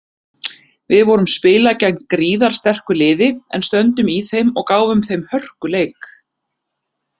Við vorum spila gegn gríðarsterku liði en stöndum í þeim og gáfum þeim hörkuleik.